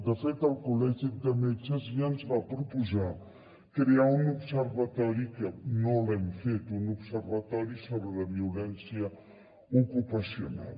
de fet el col·legi de metges ja ens va proposar crear un observatori que no l’hem fet sobre la violència ocupacional